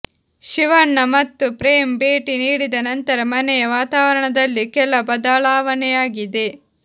ಶಿವಣ್ಣ ಮತ್ತು ಪ್ರೇಮ್ ಭೇಟಿ ನೀಡಿದ ನಂತರ ಮನೆಯ ವಾತಾವರಣದಲ್ಲಿ ಕೆಲ ಬದಲಾವಣೆಯಾಗಿದೆ